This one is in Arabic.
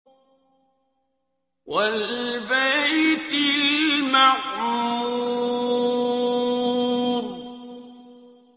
وَالْبَيْتِ الْمَعْمُورِ